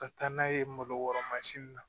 Ka taa n'a ye malo wɔrɔ mansin na